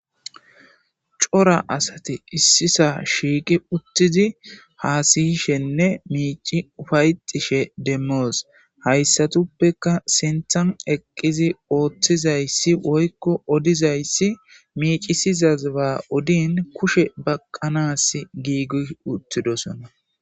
Cora asati Issisa shiiqi utidi hasiyishenne micidi ufayetishe demos haysatafekka sinthan eqizi othzaysi woyko odizaysi micisizai ba odini kushe baqanasie Gigi utididosona